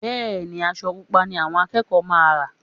Bẹ́ẹ̀ ni, aṣọ Pupa ni àwọn akẹ́kọ̀ọ́ máa rán